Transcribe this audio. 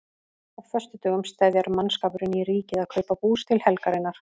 Á föstudögum steðjar mannskapurinn í Ríkið að kaupa bús til helgarinnar.